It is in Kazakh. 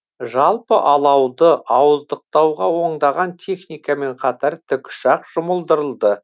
жалпы алауды ауыздықтауға ондаған техникамен қатар тікұшақ жұмылдырылды